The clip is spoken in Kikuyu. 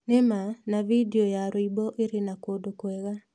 Nĩ ma na vidio ya rwĩmbo ĩrĩ na kũndũ kwega.